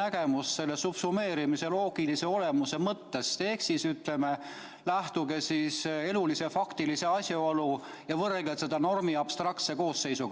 nägemust subsumeerimise loogilise olemuse mõttes ehk lähtuge elulisest faktilisest asjaolust ja võrrelge seda normi abstraktse koosseisuga.